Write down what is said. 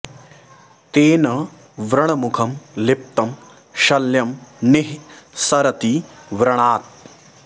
तेन व्रणमुखं लिप्तं शल्यं निः स रति व्रणात्